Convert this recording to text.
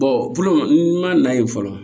n ma na yen fɔlɔ